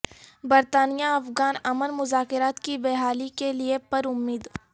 برطانیہ افغان امن مذاکرات کی بحالی کے لیے پرامید